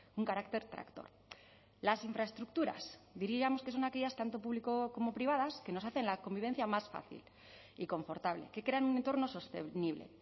un carácter tractor las infraestructuras diríamos que son aquellas tanto público como privadas que nos hacen la convivencia más fácil y confortable que crean un entorno sostenible